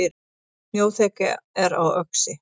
Snjóþekja er á Öxi